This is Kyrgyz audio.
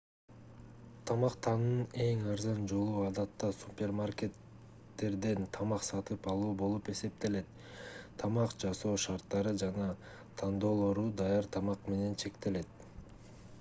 тамактануунун эң арзан жолу адатта супермакерттерден тамак сатып алуу болуп эсептелет тамак жасоо шарттары жана тандоолору даяр тамак менен чектелет